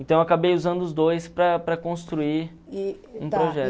Então, eu acabei usando os dois para para construir um projeto.